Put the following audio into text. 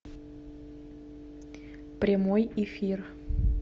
прямой эфир